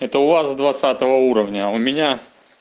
это у вас двадцатого уровня а у меня